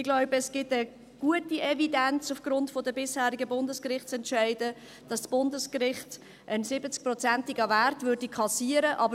Ich glaube, es gibt aufgrund der bisherigen Bundesgerichtsentscheide eine gute Evidenz, dass das Bundesgericht einen 70-prozentigen Wert kassieren würde.